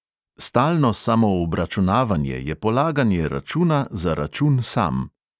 Stalno samoobračunavanje je polaganje računa za račun sam.